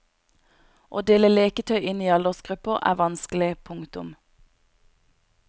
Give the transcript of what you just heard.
Å dele leketøy inn i aldersgrupper er vanskelig. punktum